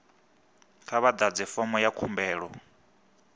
kha vha ḓadze fomo ya khumbelo